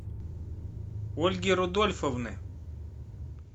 ольги рудольфовны